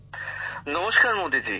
গ্যামর জীঃ নমস্কার মোদীজী